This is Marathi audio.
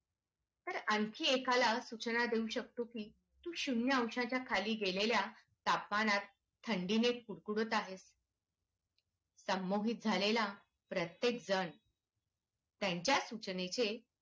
तर आणखी एका ला शिक्षा देऊ शकतो हे शून्य अंशाच्या खाली गेलेल्या तापमानात थंडी ने कुडकुडत आहेत संमोहित झालेला प्रत्येक जण त्यांच्या सूचनेचे